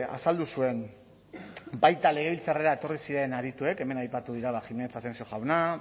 azaldu zuen baita legebiltzarrera etorri ziren adituek hemen aipatu dira jiménez asensio jauna